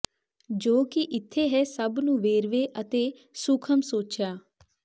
ਜੋ ਕਿ ਇੱਥੇ ਹੈ ਸਭ ਨੂੰ ਵੇਰਵੇ ਅਤੇ ਸੂਖਮ ਸੋਚਿਆ